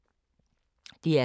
DR K